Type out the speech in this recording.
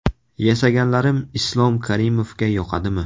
Yasaganlarim Islom Karimovga yoqadimi?